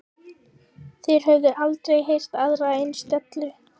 Þeir höfðu aldrei heyrt aðra eins dellu.